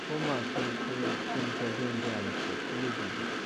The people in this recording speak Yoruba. ó mà ṣe ṣe ó sènítọ gbéńga àlùkò kù lójijì